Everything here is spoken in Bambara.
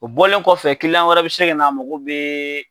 O bɔlen kɔfɛ wɛrɛ be se ka na mako be